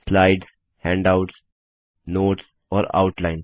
slides handouts notes और outline